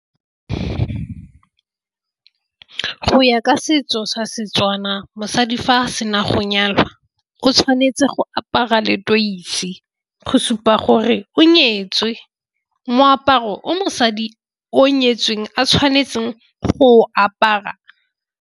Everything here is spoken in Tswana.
Go ya ka setso sa Setswana mosadi fa sena go nyalwa o tshwanetse go apara letoise go supa gore o nyetswe. Moaparo o mosadi o nyetsweng a tshwanetseng go apara.